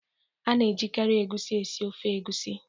A na-ejikarị egusi esi ofe egusi